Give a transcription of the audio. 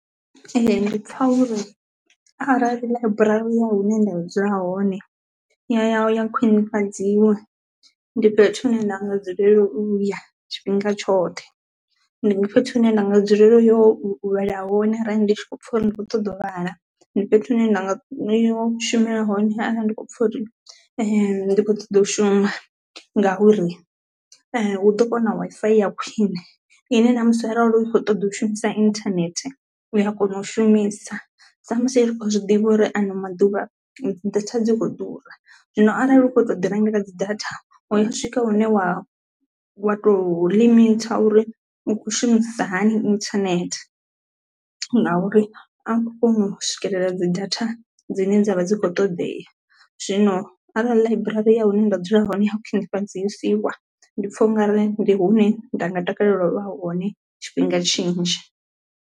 Ee ndi pfha uri arali ḽaiburari ya hune nda dzula hone ya ya ya khwinifhadziwa ndi fhethu hu ne nda nga dzulela u ya tshifhinga tshoṱhe ndi nga fhethu hu ne nda nga dzulela u yo vhala hone arali ndi tshi khou pfha uri ndi khou ṱoḓa u vhala. Ndi fhethu hu ne nda nga ya u shumela hone arali ndi kho pfha uri ndi kho ṱoḓo shuma ngauri hu ḓo vha hu na Wi-Fi ya khwine ine na musi arali u kho ṱoḓa u shumisa internet u a kona u shumisa, sa musi ri khou zwi ḓivha uri ano maḓuvha dzi data dzi kho ḓura. Zwino arali u kho to ḓi rengela dzi data hu ya swika hune wa wa to limit uri u khou shumisisa hani internet ngauri a u kho kona u swikelela dzi data dzine dzavha dzi kho ṱodea. Zwino arali ḽaiburari ya hune nda dzula hone ya khwinifhadzesiwa ndi pfha ungari ndi hune nda nga takalela u vha hone tshifhinga tshinzhi.